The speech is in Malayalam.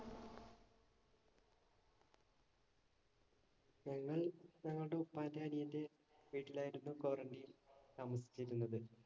ഞങ്ങൾ ഞങ്ങളുടെ ഉപ്പാന്‍റെ അനിയന്‍റെ വീട്ടിലായിരുന്നു quarantine താമസിച്ചിരുന്നത്.